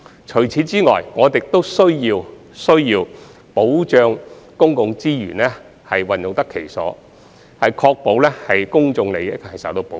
除此以外，我們亦需要保障公共資源用得其所，確保公眾利益受到保護。